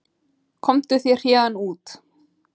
Komdu þér héðan út.